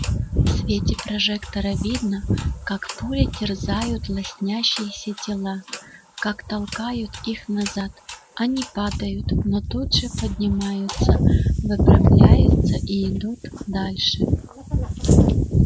в свете прожектора видно как пули терзают лоснящиеся тела как толкают их назад они падают но тут же поднимаются выпрямляются и идут дальше